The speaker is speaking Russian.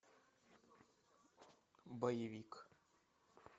боевик